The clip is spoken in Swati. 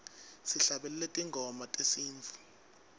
sihlabelele tingoma tesintfu